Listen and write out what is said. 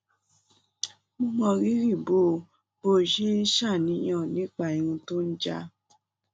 mo mọ rírì bó o bó o ṣe ń ṣàníyàn nípa irun tó ń já